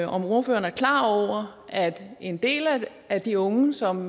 om ordføreren er klar over at en del af de unge som